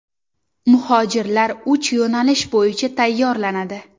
Muhojirlar uch yo‘nalish bo‘yicha tayyorlanadi.